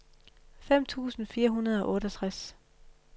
fem tusind fire hundrede og otteogtres